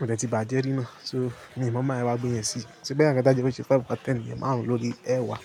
ó dẹ̀ ti bàjẹ́ rí náà, so mi ò mọ̀ bi maa yẹ wá gbé yẹn sí. Ṣé gbẹ́yàn ká dàgbà jẹ́ ó ṣe five over ten niyen, maarun lórí ẹ́wá.